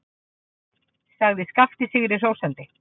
sagði Skapti sigri hrósandi.